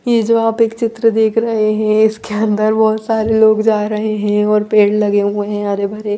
ये जो आप एक चित्र देख रहे है इसके अंदर बहुत सारे लोग जा रहे है और पेड़ लगे हुए है हरे भरे--